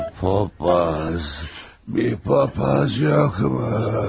Bir papaz, bir papaz yoxmu?